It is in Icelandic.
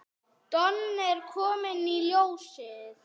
Don er kominn í ljósið.